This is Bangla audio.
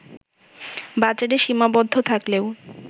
বাজারে সীমাবদ্ধ থাকলেও